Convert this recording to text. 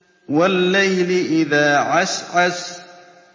وَاللَّيْلِ إِذَا عَسْعَسَ